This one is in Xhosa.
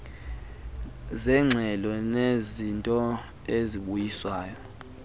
zeengxelo nezezinto ezibuyiswayo